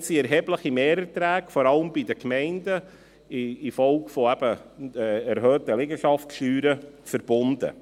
Damit sind erhebliche Mehrerträge, vor allem bei den Gemeinden infolge von erhöhten Liegenschaftssteuern, verbunden.